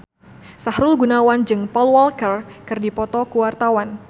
Sahrul Gunawan jeung Paul Walker keur dipoto ku wartawan